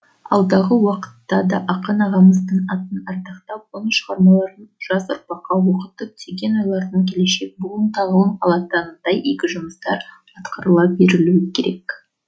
алдағы уақытта да ақын ағамыздың атын ардақтап оның шығармаларын жас ұрпаққа оқытып түйген ойларынан келешек буын тағылым алатындай игі жұмыстар атқарыла берілуі керек